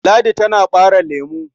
Ladi tana ɓare lemo.